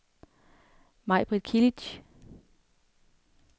Majbrit Kilic